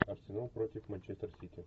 арсенал против манчестер сити